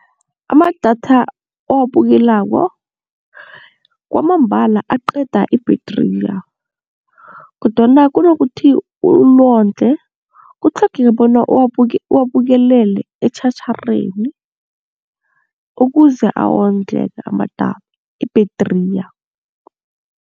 Amadatha owabukelako kwamambala aqeda ibhethriya kodwana kunokuthi ulondle kutlhogeka bona uwabukelele etjhatjharheni ukuze awondleke ibhethriya.